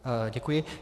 Děkuji.